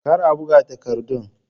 Kar a buga takardun.